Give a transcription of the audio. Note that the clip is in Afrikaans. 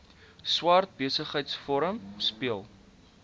swart besigheidsforum speel